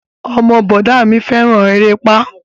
Ọmọ bọ̀dá a mi fẹ́ràn erépá